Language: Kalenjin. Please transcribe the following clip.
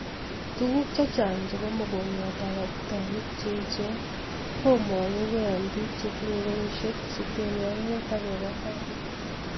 Tuguuk chechang chebaa mogongiotab abutanik cheechen komogugee eng biik chetinye kenyishek 65 agebaa tai